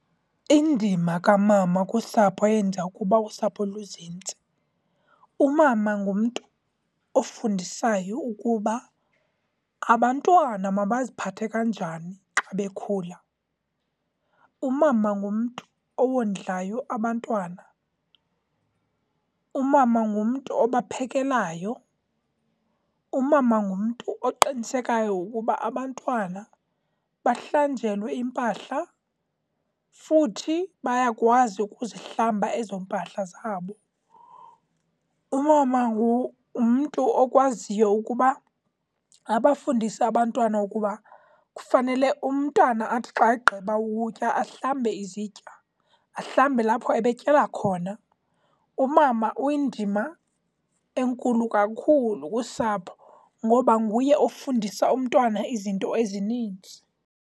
Indima kamama kusapho yenza ukuba usapho luzinze, umama ngumntu ofundisayo ukuba abantwana mabaziphathe kanjani xa bekhula. Umama ngumntu owondlayo abantwana, umama ngumntu obaphekelayo, umama ngumntu oqinisekayo ukuba abantwana bahlanjelwe impahla futhi bayakwazi ukuzihlamba ezo mpahla zabo. Umama ngumntu okwaziyo ukuba abafundise abantwana ukuba kufanele umntana athi xa egqiba ukutya ahlamba izitya, ahlamba lapho ebetyala khona. Umama uyindima enkulu kakhulu kusapho ngoba nguye ofundisa umntwana izinto ezininzi.